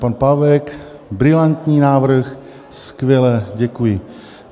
Pan Pávek, brilantní návrh, skvělé, děkuji.